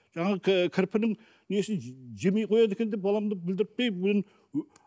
жаңағы кірпінің несін жемей қояды екен деп баламды білдірпей мен